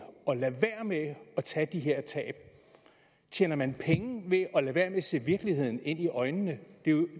at lade være med at tage de her tab tjener man penge ved at lade være med at se virkeligheden i øjnene